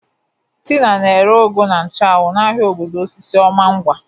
Tina na-ere ugu na nchu anwu n'ahịa obodo osisioma ngwa.